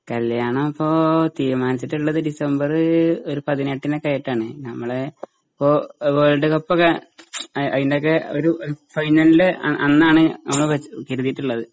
കല്യാണംപ്പോ തീരുമാനിച്ചിട്ടിള്ളത് ഡിസംബറ് ഒരു പതിനെട്ടിനൊക്കെയായിട്ടാണ്. നമ്മളെ പ്പോ ഏഹ് വേൾഡ് കപ്പൊക്കെ അ അയിന്റൊക്കെ ഒരു ഏഹ് ഫൈനലിൻ്റെ അ അന്നാണ് നമ്മള് വെച്ച് കരുതീട്ടുള്ളത്